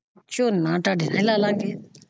ਨਾਲ ਤੁਹਾਡੇ ਨਾਲ ਲਾ ਲਾ ਗਏ।